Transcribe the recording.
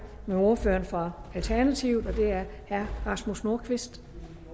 med ordføreren for alternativet og det er herre rasmus nordqvist